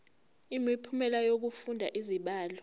imiphumela yokufunda izibalo